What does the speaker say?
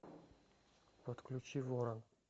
подключи ворон